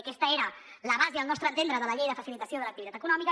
i aquesta era la base al nostre entendre de la llei de facilitació de l’activitat econòmica